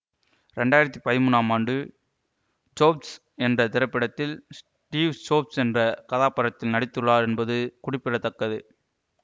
இரண்டு ஆயிரத்தி பதிமூன்றாம் ஆண்டு ஜோப்ஸ் என்ற திரைப்படத்தில் ஸ்டீவ் ஜோப்ஸ் என்ற கதாபாத்திரத்தில் நடித்துள்ளார் என்பது குறிப்படத்தக்கது